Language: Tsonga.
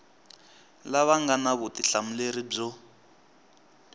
lava nga na vutihlamuleri byo